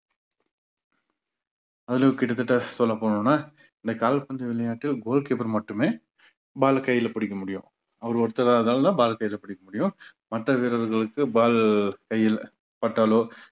அதுலயும் கிட்டத்தட்ட சொல்ல போனோம்னா இந்த கால்பந்து விளையாட்டில் goal keeper மட்டுமே ball ல கையில பிடிக்க முடியும் அவர் ஒருத்தரால தான் ball அ கையில பிடிக்க முடியும் மற்ற வீரர்களுக்கு ball கையில் பட்டாலோ